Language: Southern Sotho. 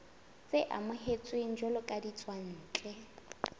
tse amohetsweng jwalo ka ditswantle